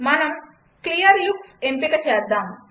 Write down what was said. మనం క్లియర్లుక్స్ ఎంపికచేద్దాం